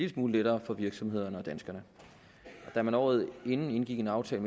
smule lettere for virksomhederne og danskerne da man året forinden indgik en aftale